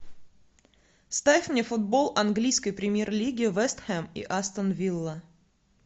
ставь мне футбол английской премьер лиги вест хэм и астон вилла